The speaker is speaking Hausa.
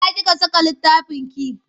Ina kika saka littafinki?